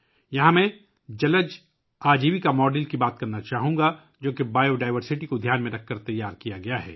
یہاں میں aquatic livelihood model پر بات کرنا چاہوں گا، جو حیاتیاتی تنوع کو ذہن میں رکھتے ہوئے تیار کیا گیا ہے